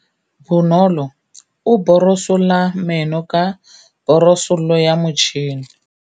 Bonolô o borosola meno ka borosolo ya motšhine.